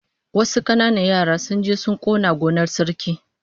Wasu kananan yara sun je sun kona gonar Sarki